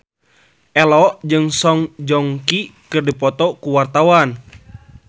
Ello jeung Song Joong Ki keur dipoto ku wartawan